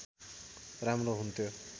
राम्रो हुन्थ्यो